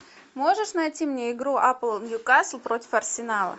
можешь найти мне игру апл ньюкасл против арсенала